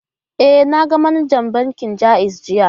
E, na ga manajar bankin Ja'iz jiya.